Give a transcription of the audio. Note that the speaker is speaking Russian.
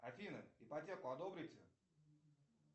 афина ипотеку одобрите